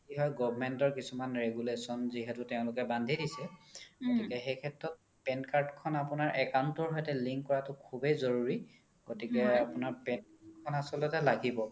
কি হয় government ৰ কিছুমান regulation যিহেতু তেওলোকে বান্ধি দিছে গতিকে সেই সেত্ৰত PAN card account ৰ সৈতে link কৰাতো খোবেই জৰুৰি গতিকে PAN card আচলতে লাগিব